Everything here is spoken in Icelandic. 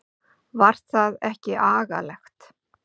Var það ekki agalegt?